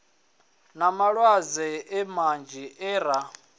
na malwadze manzhi e ra